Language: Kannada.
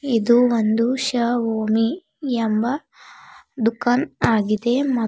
ಇದು ಒಂದು ಶಓಮಿ ಎಂಬ ದುಖಾನ್ ಆಗಿದೆ ಮ--